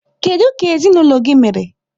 Kedu ka ezinụlọ gị mere?